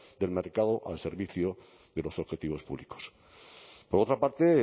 del mercado al servicio de los objetivos públicos por otra parte